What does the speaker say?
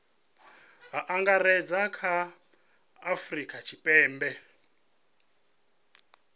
angaredza kha a afurika tshipembe